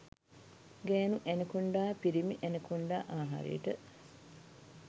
ගෑණු ඇනකොන්ඩා පිිරිමි ඇනකොන්ඩා ආහාරයට